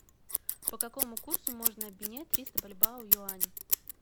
по какому курсу можно обменять триста бальбоа в юани